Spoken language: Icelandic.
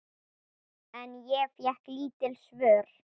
En ég fékk lítil svör.